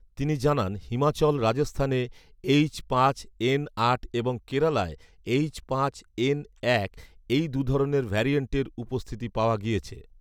তিনি জানান, হিমাচল, রাজস্থানে এইচ পাঁচ এন আট এবং কেরালায় এইচ পাঁচ এন এক, এই দু'ধরনের ভ্যারিয়্যান্টের উপস্থিতি পাওয়া গিয়েছে